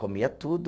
Comia tudo.